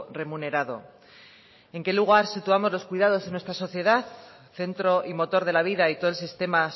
remunerado en qué lugar situamos los cuidados en nuestro sociedad centro y motor de la vida y todo el sistema